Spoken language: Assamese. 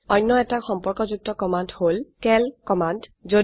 অনয়এটি সম্পর্কযুক্ত কমান্ড হল চিএএল কমান্ড